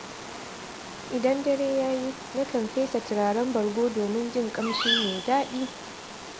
Idan dare ya yi, na kan fesa turaren bargo domin jin ƙamshi mai daɗi.